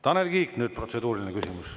Tanel Kiik nüüd, protseduuriline küsimus.